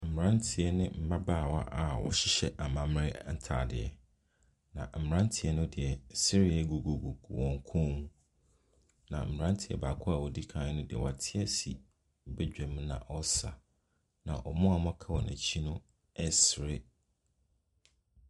Mmeranteɛ ne mmabaawa a wɔhyehyɛ amammerɛ ntadeɛ, na mmeranteɛ no deɛ, sedeɛ gugugugu wɔn kɔn. Na mmeranteɛ baako a ɔdi kan no deɛ, wate ase badwam ɛna ɔre sa. Na wɔn a wɔaka wɔ n'akyi no resere.